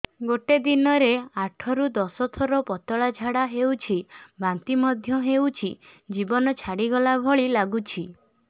ଗୋଟେ ଦିନରେ ଆଠ ରୁ ଦଶ ଥର ପତଳା ଝାଡା ହେଉଛି ବାନ୍ତି ମଧ୍ୟ ହେଉଛି ଜୀବନ ଛାଡିଗଲା ଭଳି ଲଗୁଛି